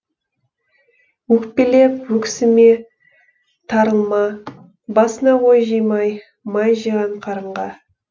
өкпелеп өксіме тарылма басына ой жимай май жиған қарынға